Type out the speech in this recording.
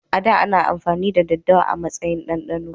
A da, ana amfani da daddawa a matsayin dandano